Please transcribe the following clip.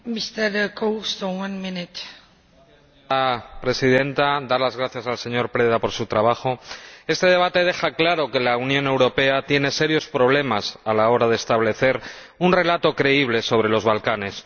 Señora Presidenta. Quiero dar las gracias al señor Preda por su trabajo. Este debate deja claro que la Unión Europea tiene serios problemas a la hora de establecer un relato creíble sobre los Balcanes.